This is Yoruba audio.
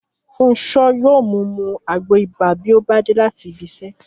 Fúnṣo yóò mú mu àgbo ìbà bí ó bá dé láti ibi iṣẹ́